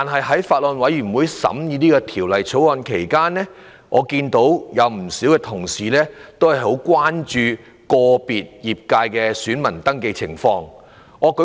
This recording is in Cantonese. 在法案委員會審議《條例草案》期間，不少同事均十分關注個別界別的選民登記情況。